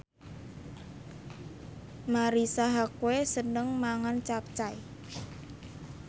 Marisa Haque seneng mangan capcay